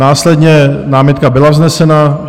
Následně námitka byla vznesena.